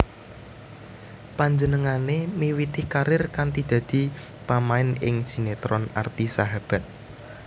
Panjenenganne miwiti karir kanthi dadi pamain ing sinetron Arti Sahabat